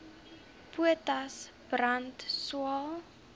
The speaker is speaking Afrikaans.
potas brand swael